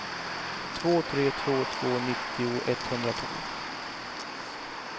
två tre två två nittio etthundratolv